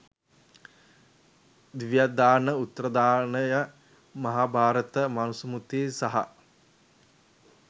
දිව්‍යාවදාන, උත්තරදායන, මහාභාරත, මනුස්මෘති සහ